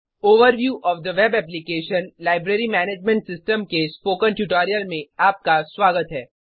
overview of the web application - library management system के spoken tutorial में आपका स्वागत है